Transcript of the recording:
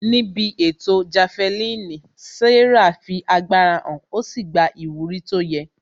Níbi ètò jafelini, Sarah fi agbára hàn ó sì gba ìwúrí tó yẹ